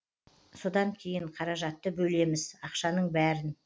содан кейін қаражатты бөлеміз ақшаның бәрін